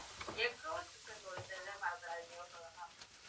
egg roll chicken roll இந்த இத மறந்துராதீங்க okay வா ma'am